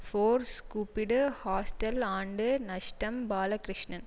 force கூப்பிடு hostel ஆண்டு நஷ்டம் பாலகிருஷ்ணன்